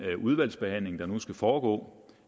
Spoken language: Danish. udvalgsbehandling der nu skal foregå